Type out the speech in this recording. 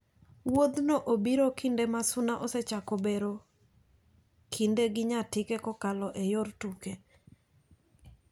Wuodhno obiro kinde ma Suna osechako bero kinde gi Nyatike kokalo e yor tuke.